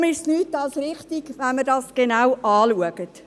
Deshalb ist es nichts als richtig, wenn wir dies genau anschauen.